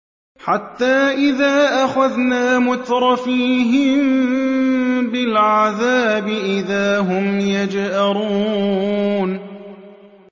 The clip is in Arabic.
حَتَّىٰ إِذَا أَخَذْنَا مُتْرَفِيهِم بِالْعَذَابِ إِذَا هُمْ يَجْأَرُونَ